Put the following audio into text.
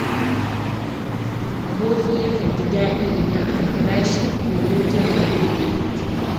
Aboki yakan ji daɗi idan aka kira shi domin jin halin da yake ciki.